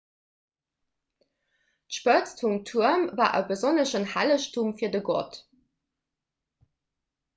d'spëtz vum tuerm war e besonneschen hellegtum fir de gott